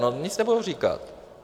No nic nebudou říkat.